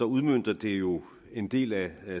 udmønter det jo en del af